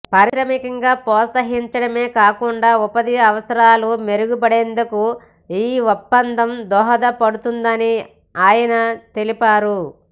పారిశ్రామికంగా ప్రోత్సహించడమే కాకుండా ఉపాధి అవకాశాలు మెరుగుపడేందుకు ఈ ఒప్పందం దోహదపడుతుందని ఆయన తెలిపారు